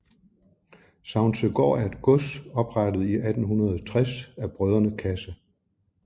Savnsøgård er et gods oprettet i 1860 af brødrene Casse